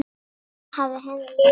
Þar hafði henni liðið vel.